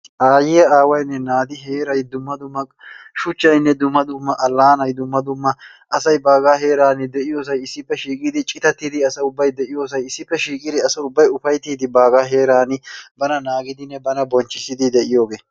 Aayiya aawayinne naati heeray dumma dumma shuchayinne dumma dumma allaanay dumma dumma asay baagaa heeraani de"iyoosay issippe shiiqidi citatidi asa ubbay de"iyoosay issippe shiiqidi asa ubbay ufayittiiddi asay baagaa heeraani bana naagidinne bana bonchchissidi de"iyoogee.